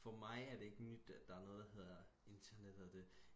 for mig er det ikke nyt at der er noget der hedder internettet og det